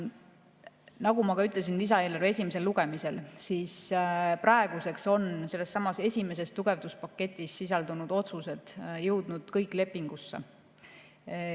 Nagu ma ka ütlesin lisaeelarve esimesel lugemisel, praeguseks on sellessamas esimeses tugevduspaketis sisaldunud otsused jõudnud kõik lepingusse.